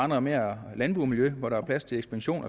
noget mere landbomiljø hvor der er plads til ekspansion